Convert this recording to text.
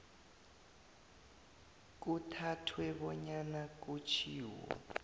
kuthathwe bonyana kutjhiwo